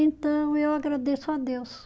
Então eu agradeço a Deus.